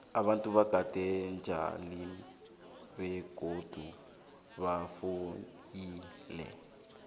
abantu bakade beba tjalile begodu bafuyile